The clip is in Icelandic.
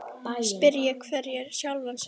Spyrji hver sjálfan sig.